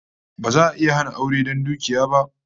Ba za'a iya hana aure don dukiya ba